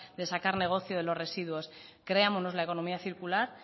de sacar negocio de los residuos creámonos la economía circular